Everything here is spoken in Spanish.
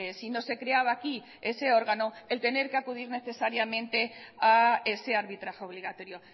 si no se creaba aquí ese órgano el tener que acudir necesariamente a ese arbitraje obligatorio